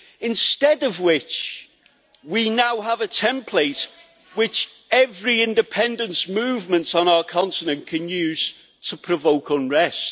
Instead of which we now have a template which every independence movement on our continent can use to provoke unrest.